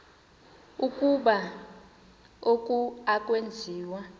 ukuba oku akwenziwa